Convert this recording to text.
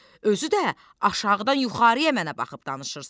Özü də aşağıdan yuxarıya mənə baxıb danışırsız.